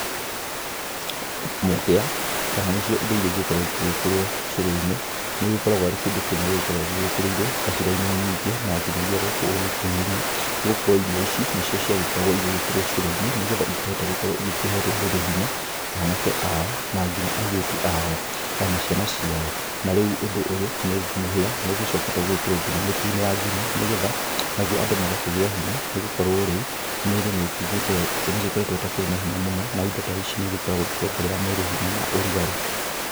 Mũhĩa, kana nĩ cio indo irĩa igĩkoragwo igĩgĩkĩrwo cũrũ-inĩ, nĩũgĩkoragwo arĩ kĩndũ kĩmwe gĩgĩkoragwo gĩgĩkĩrĩirwo kabira-inĩ nyingĩ, na nginyagia gũkũ ũgĩkũyũ-inĩ. Nĩgũkorwo irio ici nicio ciagĩkoragwo ĩgĩkĩrwo cũrũ-inĩ, nĩgetha ikĩhote gũkorwo igĩkĩhe rũrĩrĩ hinya, anake ao na nginya airĩtu ao, ona ciana ciao. Na rĩu ũndũ ũyũ, nĩ mũhĩa, nĩũgĩcokete gũgĩkĩrwo nginya mĩtu-inĩ ya ngima, nĩgetha naguo andũ magakĩgĩa hinya, nĩgũkorwo rĩu, mĩrĩ nĩkĩgĩte, nĩgĩkoretwo ĩtakĩrĩ na hinya mũno. Na indo ta ici nĩigĩkoragwo ikĩongerera mwĩrĩ hinya na ũrugarĩ.